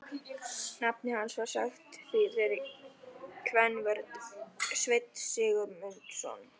Nafnið hans var sagt þýðri kvenrödd: Sveinn Guðmundsson?